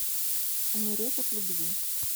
умереть от любви